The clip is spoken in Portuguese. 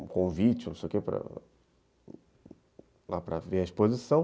um convite, não sei o quê, para ver a exposição.